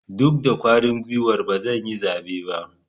Duk da kwarin guiwar ba zan yi zabe ba.